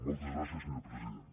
moltes gràcies senyor president